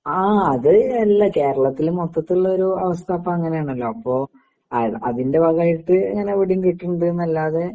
ആ അത് കേരളത്തില് മൊത്തത്തില് ഒരു അവസ്ഥ ഇപ്പോ അങ്ങനെ ആണല്ലോ? അപ്പോ അതിന്റെ ഭാഗമായിട്ട് ഇവിടെയും ഇങ്ങനെ കിട്ടുന്നുണ്ട് എന്നല്ലാതെ